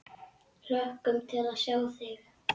Hlökkum til að sjá þig!